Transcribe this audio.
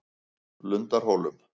Lundahólum